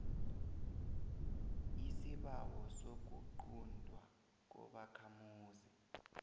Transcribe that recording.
isibawo sokuquntwa kobakhamuzi